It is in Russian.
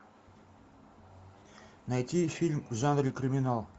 найти фильм в жанре криминал